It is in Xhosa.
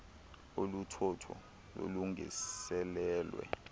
olu thotho lulungiselelwe